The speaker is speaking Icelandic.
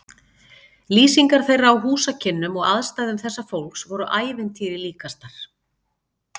Lýsingar þeirra á húsakynnum og aðstæðum þessa fólks voru ævintýri líkastar.